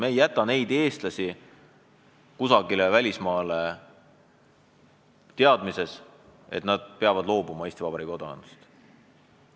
Me ei jäta eestlasi kusagile välismaale teadmises, et nad peavad ehk Eesti Vabariigi kodakondsusest loobuma.